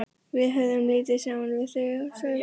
Við höfðum lítið saman við þau að sælda.